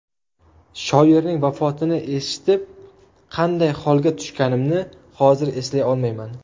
Shoirning vafotini eshitib qanday holga tushganimni hozir eslay olmayman.